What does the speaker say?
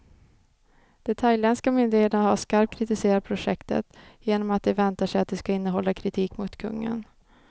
De thailändska myndigheterna har skarpt kritiserat projektet, genom att de väntar sig att det ska innehålla kritik mot kungen.